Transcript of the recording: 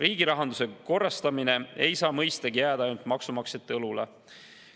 Riigi rahanduse korrastamine ei saa mõistagi jääda ainult maksumaksjate õlule.